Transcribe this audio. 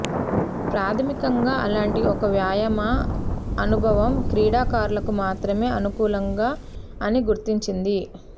ప్రాధమికంగా అలాంటి ఒక వ్యాయామ అనుభవం క్రీడాకారులకు మాత్రమే అనుకూలంగా అని గుర్తించింది